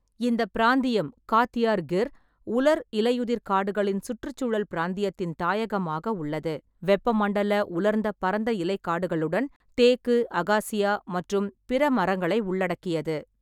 இந்த பிராந்தியம் காத்தியார்-கிர் உலர் இலையுதிர் காடுகளின் சுற்றுச்சூழல் பிராந்தியத்தின் தாயகமாக உள்ளது, வெப்பமண்டல உலர்ந்த பரந்த இலை காடுகளுடன் தேக்கு, அகாசியா மற்றும் பிற மரங்களை உள்ளடக்கியது.